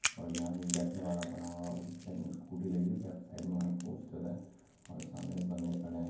और यहाँ एक बैठने वाला बना हुआ है और उस साइड में स्कूटी लगी हुई है लेफ्ट साइड में वहीं पोस्टर है और सामने कुछ बंदे खड़े हैं।